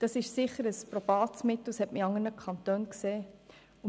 Das ist sicher ein probates Mittel, wie man in anderen Kantonen gesehen hat.